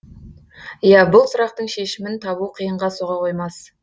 иә бұл сұрақтың шешімін табу қиынға соға қоймас